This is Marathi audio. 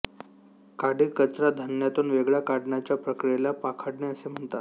काडीकचरा धान्यातून वेगळा काढण्याच्या प्रक्रियेला पाखडणे असे म्हणतात